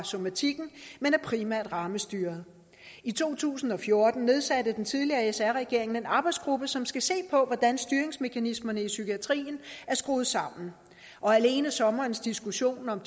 somatikken men er primært rammestyret i to tusind og fjorten nedsatte den tidligere sr regering en arbejdsgruppe som skulle se på hvordan styringsmekanismerne i psykiatrien er skruet sammen og alene sommerens diskussion om